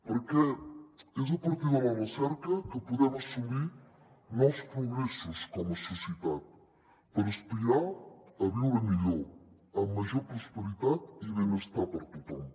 perquè és a partir de la recerca que podem assolir nous progressos com a societat per aspirar a viure millor amb major prosperitat i benestar per a tothom